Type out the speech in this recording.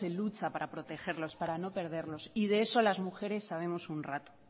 lucha para protegerlos para no perderlos y de eso las mujeres sabemos un rato